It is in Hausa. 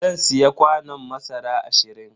Zan siya kwanon masara ashirin.